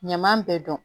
Ɲaman bɛɛ dɔn